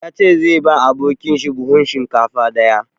Ya ce zai ba abokin shi buhun shinkafa ɗaya.